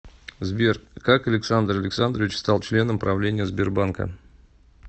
сбер как александр александрович стал членом правления сбербанка